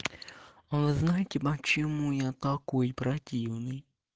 вы знаете почему я такой противный